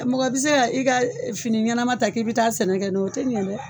Mɔgɔ bɛ se ka i ka fini ɲɛnama ta k'i bɛ taa sɛnɛ kɛ n'o ye o tɛ ɲɛ dɛ.